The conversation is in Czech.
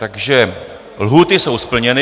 Takže lhůty jsou splněny.